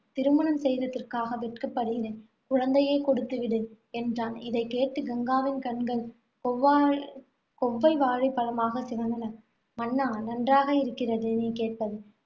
திருமணம் செய்ததற்காக வெட்கப்படுகிறேன். குழந்தையைக் கொடுத்து விடு என்றான். இதைக் கேட்டு கங்காவின் கண்கள் கொவ்வால்~ கொவ்வைப் வாழைப்பழமாகச் சிவந்தன. மன்னா நன்றாக இருக்கிறது நீ கேட்பது